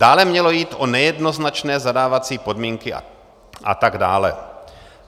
Dále mělo jít o nejednoznačné zadávací podmínky a tak dále.